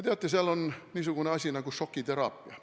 Teate, seal on niisugune asi nagu šokiteraapia.